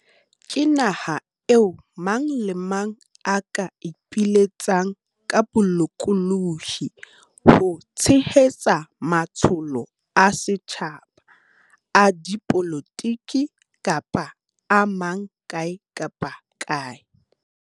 Ke naha eo mang kapa mang a ka ipiletsang ka bolokolohi ho tshehetsa matsholo a setjhaba, a dipolotiki kapa a mang kae kapa kae.